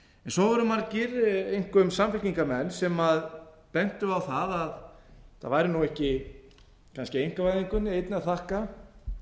svo voru margir einkum samfylkingarmenn sem bentu á það að það væri ú ekki kannski einkavæðingunni einni að þakka